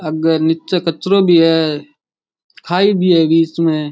आगे नीचे कचरो भी है खाई भी है में।